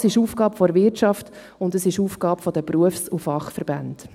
Auch das ist Aufgabe der Wirtschaft und es ist Aufgabe der Berufs- und Fachverbände.